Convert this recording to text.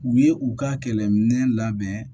U ye u ka kɛlɛminɛn labɛn